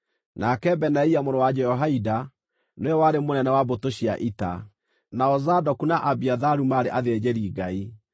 nake Benaia mũrũ wa Jehoiada nĩwe warĩ mũnene wa mbũtũ cia ita; nao Zadoku na Abiatharu maarĩ athĩnjĩri-Ngai;